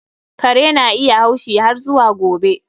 Kare na iya haushi har zuwa gobe.